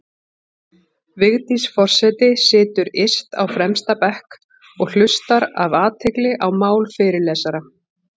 Vigdís forseti situr yst á fremsta bekk og hlustar af athygli á mál fyrirlesara.